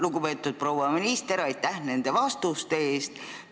Lugupeetud proua minister, aitäh nende vastuste eest!